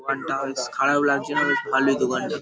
দোকানটা বেশ খারাপ লাগছে না বেশ খালি দোকানটা --